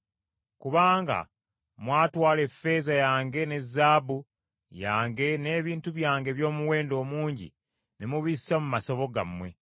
Kubanga mwatwala effeeza yange ne zaabu yange n’ebintu byange eby’omuwendo omungi ne mubissa mu masabo gammwe.